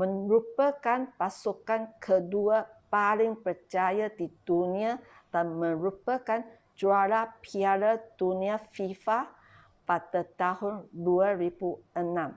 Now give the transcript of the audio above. merupakan pasukan kedua paling berjaya di dunia dan merupakan juara piala dunia fifa pada tahun 2006